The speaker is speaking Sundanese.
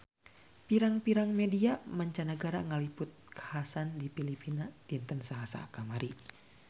Pirang-pirang media mancanagara ngaliput kakhasan di Filipina dinten Salasa kamari